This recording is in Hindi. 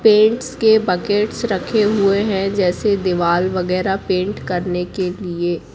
पेंट्स के बकेट्स रखे हुए है जैसे दीवार वगैरा पेंट करने के लिए--